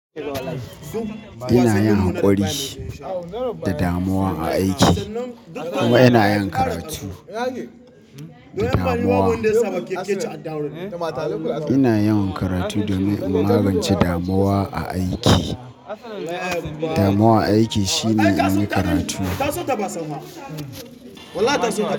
Ina yin hakuri da damuwa a aiki kuma ina yin karatu. Damuwa. Ina yin karatu domin in magance damuwa a aiki. Damuwa a aiki shine na yi karatu.